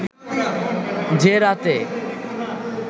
যে রাতে